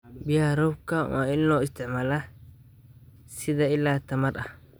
Biyaha roobka waa in loo isticmaalaa sida il tamar ah.